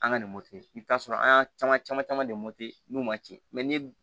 An ka nin i bɛ t'a sɔrɔ an y'a caman caman caman de n'u ma tiɲɛ mɛ ni